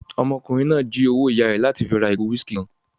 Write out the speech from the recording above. Ọmọkùnrin náà jí owó ìyá rẹ̀ láti fi ra ìgò whiskey kan